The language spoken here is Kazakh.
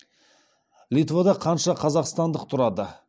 литвада қанша қазақстандық тұрады